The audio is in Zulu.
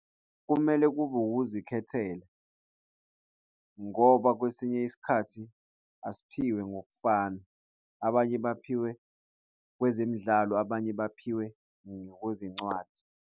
Kumele kube ukuzikhethela, ngoba kwesinye isikhathi asiphiwe ngokufana, abanye baphiwe kwezemidlalo, abanye baphiwe ngokwezencwadi.